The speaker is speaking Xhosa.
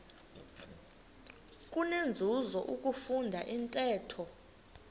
kunenzuzo ukufunda intetho